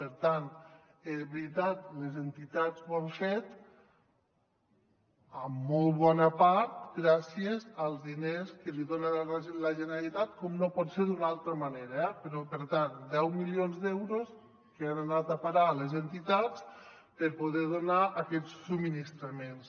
per tant és veritat les entitats ho han fet en molt bona part gràcies als diners que els dona la generalitat com no pot ser d’una altra manera eh però per tant deu milions d’euros que han anat a parar a les entitats per poder donar aquests subministraments